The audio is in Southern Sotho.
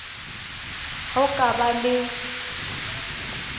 ha o ka ba le